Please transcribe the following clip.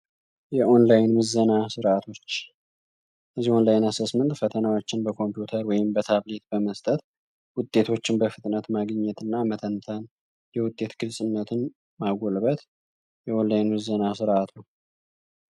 የኦላይን ምዘና ስርዓቶች ፈተናዎችን በኮምፒውተር ወይም በታብሌት በመስጠት ውጤቶችን በፍጥነት ማግኘትና የውጤቱን ማጎልበት ምዘና ስርዓት ነው።